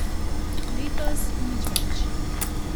Letos nič več.